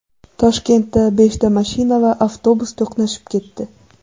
Toshkentda beshta mashina va avtobus to‘qnashib ketdi.